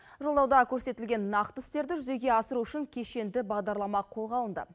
жолдауда көрсетілген нақты істерді жүзеге асыру үшін кешенді бағдарлама қолға алынды